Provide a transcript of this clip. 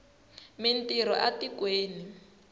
mi ntirho a tikweni